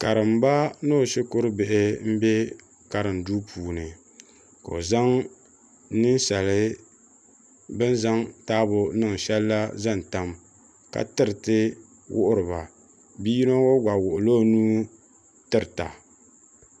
karimba ni o shikuru bihi m-be Karim duu puuni ka o zaŋ ninsali bɛ zaŋ taabo niŋ shɛli la zaŋ tam ka tiri wuhiri ba bi' yino ŋɔ gba wuɣi la o nuu tirita.